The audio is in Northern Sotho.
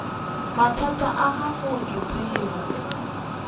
mathata a gago ke tseba